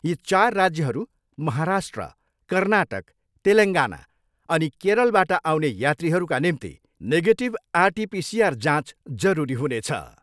यी चार राज्यहरू महाराष्ट्र, कर्नाटक, तेलेगाङ्ना अनि केरलबाट आउने यात्रीहरूका निम्ति नेगेटिभ आर टिपिसिआर जाँच जरुरी हुनेछ।